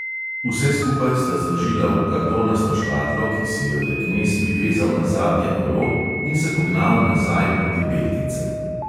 Vse skupaj sta zložila v kartonasto škatlo, ki si jo je knez privezal na zadnje kolo in se pognal nazaj proti beltincem.